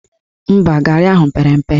Mba, garị ahụ pere mpe